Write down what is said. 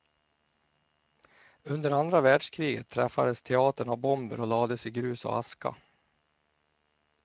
Under andra världskriget träffades teatern av bomber och lades i grus och aska.